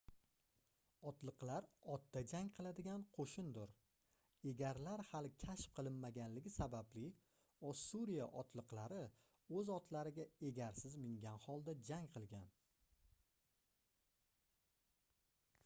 otliqlar otda jang qiladigan qoʻshindir egarlar hali kashf qilinmaganligi sababli ossuriya otliqlari oʻz otlariga egarsiz mingan holda jang qilgan